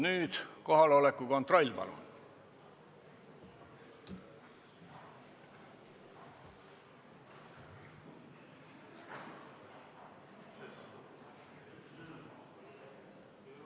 Nüüd kohaloleku kontroll, palun!